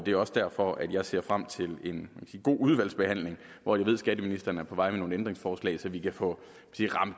er også derfor jeg ser frem til en god udvalgsbehandling hvor jeg ved skatteministeren er på vej med nogle ændringsforslag så vi kan få